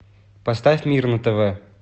поставь мир на тв